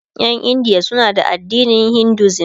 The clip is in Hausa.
Ƴan India suna da addinin Hinduism